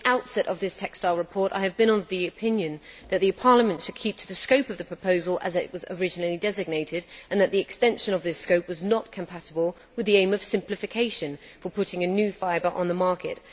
From the outset of this textile report, I have been of the opinion that Parliament should keep to the scope of the proposal as it was originally designated and that the extension of this scope was not compatible with the aim of simplification for putting a new fibre on the market.